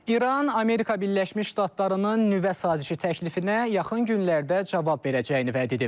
İran, Amerika Birləşmiş Ştatlarının nüvə sazişi təklifinə yaxın günlərdə cavab verəcəyini vəd edib.